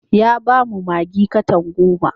Ya ba mu maggi katan goma.